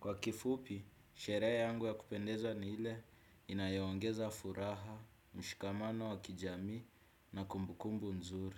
kwa kifupi sherehe yangu ya kupendeza ni ile inayoongeza furaha, mshikamano wa kijamii na kumbukumbu nzuri.